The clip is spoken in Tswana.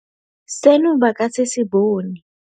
Seno ba ka se se bone.